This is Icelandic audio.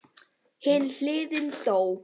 Hin hliðin dó.